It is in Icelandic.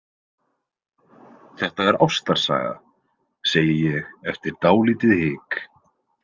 Þetta er ástarsaga, segi ég eftir dálítið hik.